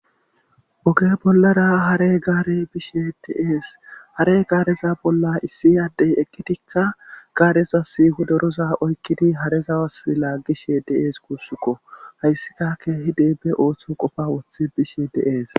Oge bollara hare gaare bishe deees hare gaareza bolla issi addey eqqitikka gaareza siihu doroza oykkidi harezawas laaggishe de'ees guussukko hayssika keehi deebe ooththo qofa woththe bishe deees